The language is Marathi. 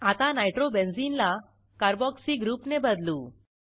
आता नायट्रोबेन्झिनला कार्बोक्सी ग्रुपने बदलू